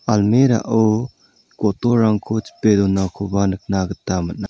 almirah-o botolrangko chipe donakoba nikna gita man·a--